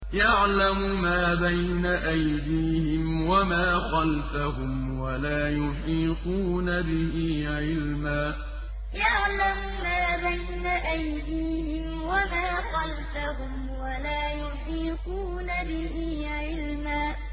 يَعْلَمُ مَا بَيْنَ أَيْدِيهِمْ وَمَا خَلْفَهُمْ وَلَا يُحِيطُونَ بِهِ عِلْمًا يَعْلَمُ مَا بَيْنَ أَيْدِيهِمْ وَمَا خَلْفَهُمْ وَلَا يُحِيطُونَ بِهِ عِلْمًا